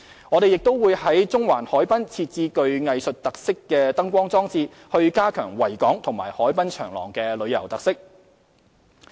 我們亦會在中環海濱設置具藝術特色的燈光裝置，以加強維港和海濱長廊的旅遊特色。